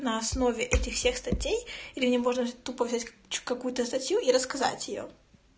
на основе этих всех статей или мне можно тупо взять какую-то статью и рассказать её